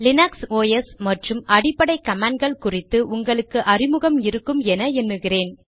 Linux OS மற்றும் அடிப்படை காமான்ட்கள் குறித்து உங்களுக்கு அறிமுகம் இருக்கும் என எண்ணுகிறேன்